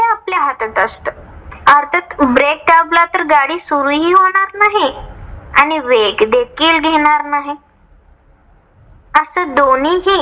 ते आपल्या हातात असत. अर्थात break दाबला तर गाडी सुरूही होणार आणि वेग देखील घेणार नाही. अस दोनीही